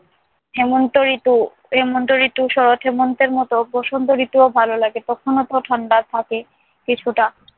হেমন্ত ঋতু হেমন্ত ঋতু শরৎ হেমন্তের মতো বসন্ত ঋতুও ভালো লাগে। তখনো তো ঠাণ্ডা থাকে কিছুটা।